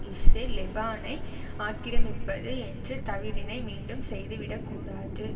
Israel லெபானை ஆக்கிரமிப்பது என்ற தவறினை மீண்டும் செய்து விட கூடாது